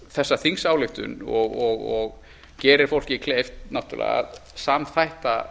þessa þingsályktun og gerir fólki kleift náttúrlega að samþætta